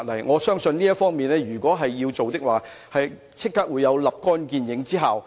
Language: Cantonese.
我相信如能在這方面下工夫，即可收立竿見影之效。